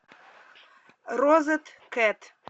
розеткет